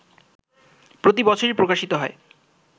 প্রতিবছরই প্রকাশিত হয়